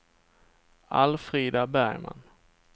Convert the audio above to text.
Alfrida Bergman